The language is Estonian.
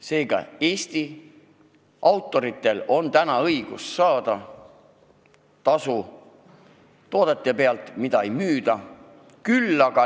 Seega, Eesti autoritel on õigus saada tasu toodete pealt, mida ei müüda.